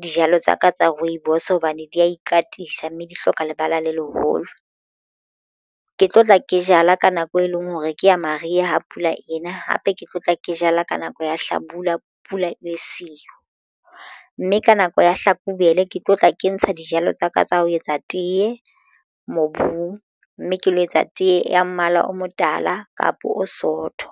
dijalo tsaka tsa rooibos hobane di ya ikatisa mme di hloka lebala le leholo. Ke tlo tla ke jala ka nako e leng hore ke ya mariha ha pula ena hape ke tlo tla ke jala ka nako ya hlabula pula ele siyo mme ka nako ya hlakubele ke tlo tla ke ntsha dijalo tsaka tsa ho etsa teye mobung, mme ke lo etsa tee ya mmala o motala kapo o sootho.